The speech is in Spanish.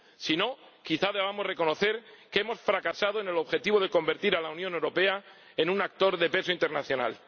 Si no, quizá debamos reconocer que hemos fracasado en el objetivo de convertir a la Unión Europea en un actor de peso internacional.